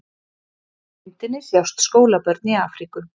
Á myndinni sjást skólabörn í Afríku.